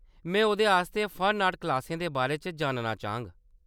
मैं ओह्‌‌‌‌दे आस्तै फन-आर्ट क्लासें दे बारे च जानना चाह्‌ङ।